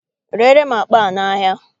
Reere m akpa a n'ahịa!